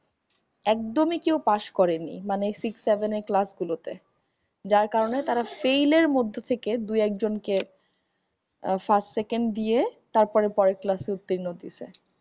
একদমই কেউ pass করেনি মানে six seven এর ক্লাসগুলোতে যার কারণে তারা fail এর মধ্যে থেকে দু একজন কে আহ first second দিয়ে তারপরে পরের class উত্তীর্ণ হইতেছে